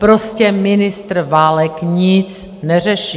Prostě ministr Válek nic neřeší.